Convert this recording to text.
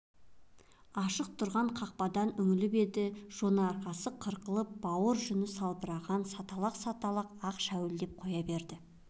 ашық тұрған қақпадан үңіліп еді жонарқасы қырқылып бауыр жүн салбыраған саталақ-саталақ ақ шәуілдеп қоя берді